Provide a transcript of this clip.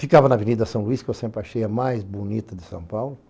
Ficava na Avenida São Luís, que eu sempre achei a mais bonita de São Paulo.